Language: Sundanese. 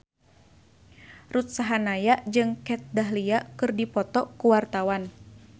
Ruth Sahanaya jeung Kat Dahlia keur dipoto ku wartawan